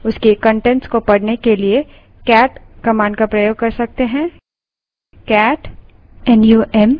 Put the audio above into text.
हमने जो file बनाई है उसके कंटेंट्स को पढ़ने के लिए cat command का प्रयोग कर सकते हैं